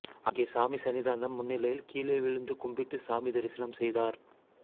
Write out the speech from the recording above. அங்கே சாமி சந்நிதானம் முன்னிலையில் கீழே விழுந்து கும்பிட்டு சாமி தரிசனம் செய்தார்